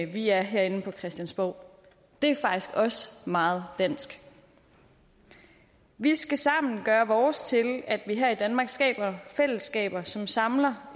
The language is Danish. vi er herinde på christiansborg det er faktisk også meget dansk vi skal sammen gøre vores til at vi her i danmark skaber fællesskaber som samler